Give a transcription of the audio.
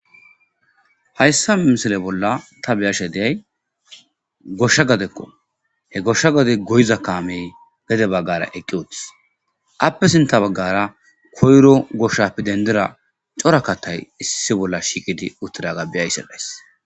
hayssa misile bolla ta beyashe deay goshsha gadekko he goshsha gade goyiza kaamey gede baggara eqqi utis appe sinta baggara koyro goshshapi dendira corakatay issi bolla shiqidi uttida gabbiyaysellays